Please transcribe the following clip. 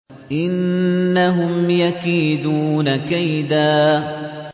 إِنَّهُمْ يَكِيدُونَ كَيْدًا